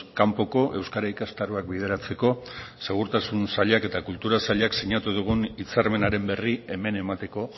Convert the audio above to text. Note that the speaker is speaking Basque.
kanpoko euskara ikastaroak bideratzeko segurtasun sailak eta kultura sailak sinatu dugun hitzarmenaren berri hemen emateko